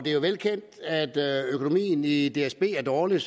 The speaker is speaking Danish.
jo velkendt at økonomien i i dsb er dårlig